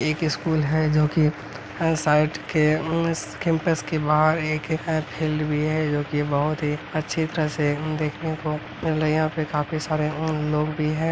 एक स्कूल है जो कि उम्म साइड के इस केम्पस के बाहर एक फील्ड भी है जो कि बहोत ही अच्छी तरह से देखने को मतलब यहाँ पे काफी सारे लोग भी है।